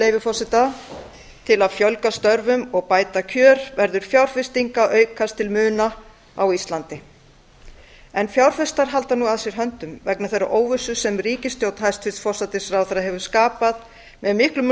leyfi forseta til að fjölga störfum og bæta kjör verður fjárfesting að aukast til mikilla muna á íslandi þetta er rétt hjá hæstvirtum forsætisráðherra en fjárfestar halda nú að sér höndum vegna þeirrar óvissu sem ríkisstjórn hæstvirtur forsætisráðherra hefur skapað með miklum